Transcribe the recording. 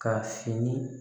Ka fini